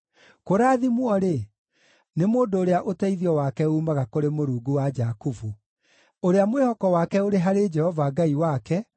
Kũrathimwo-rĩ, nĩ mũndũ ũrĩa ũteithio wake uumaga kũrĩ Mũrungu wa Jakubu, ũrĩa mwĩhoko wake ũrĩ harĩ Jehova Ngai wake,